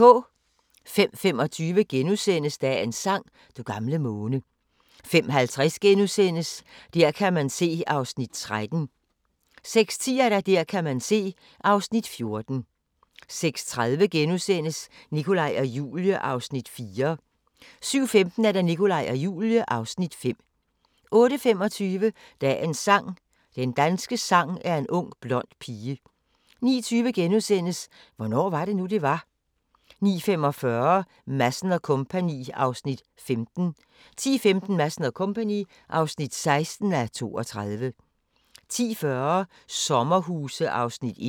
05:25: Dagens sang: Du gamle måne * 05:50: Der kan man se (13:16)* 06:10: Der kan man se (14:16) 06:30: Nikolaj og Julie (Afs. 4)* 07:15: Nikolaj og Julie (Afs. 5) 08:25: Dagens sang: Den danske sang er en ung blond pige 09:20: Hvornår var det nu, det var? * 09:45: Madsen & Co. (15:32) 10:15: Madsen & Co. (16:32) 10:40: Sommerhuse (1:10)